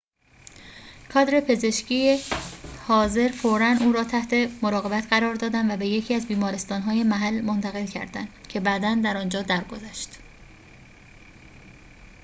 کادر پزشکی حاضر فوراً او را تحت مراقبت قرار دادند و به یکی از بیمارستان‌های محل منتقل کردند که بعداً در آنجا درگذشت